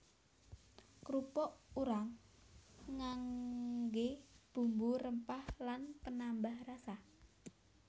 Krupuk urang nganggé bumbu rempah lan penambah rasa